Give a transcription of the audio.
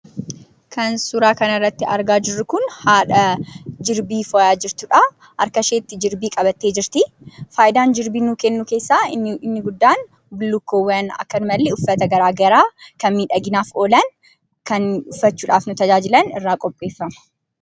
Kan suuraa kana irratti arginu haadha jirbii fo'aa jirtuu dha. Harka isheettis jirbii qabattee jirti. Faayidaan jirbii kanaas bullukkoowwan akksumas uffatan miidhaginaaf oolan kan irraa hojjetamanii dha